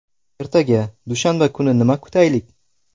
Ertaga, dushanba kuni nima kutaylik?